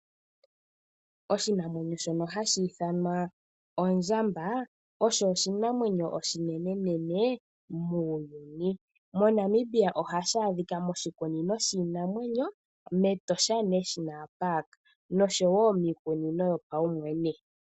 Oshinamwenyo shono hashi ithanwa ondjamba, osho oshinamwenyo oshinenenene muuyuni. MoNamibia ohashi adhika moshikunino shiinamwenyo mEtosha National Park nosho wo miikunino yopaumwene.